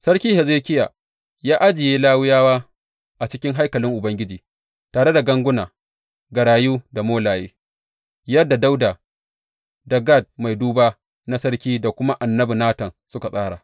Sarki Hezekiya ya ajiye Lawiyawa a cikin haikalin Ubangiji tare da ganguna, garayu da molaye, yadda Dawuda da Gad mai duba na sarki da kuma annabi Natan suka tsara.